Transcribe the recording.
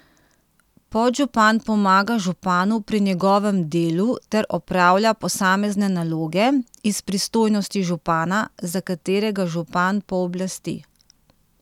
Podžupan pomaga županu pri njegovem delu ter opravlja posamezne naloge iz pristojnosti župana, za katere ga župan pooblasti.